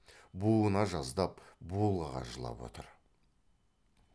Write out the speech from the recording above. буына жаздап булыға жылап отыр